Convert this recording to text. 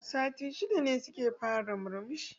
Sati shida ne suka fara murmushi